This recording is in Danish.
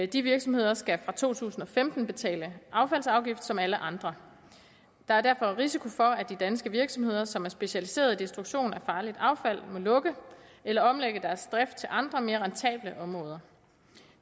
de virksomheder skal fra to tusind og femten betale affaldsafgift som alle andre der er derfor risiko for at de danske virksomheder som er specialiserede i destruktion af farligt affald må lukke eller omlægge deres drift til andre mere rentable områder